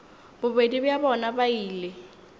bobedi bja bona ba ile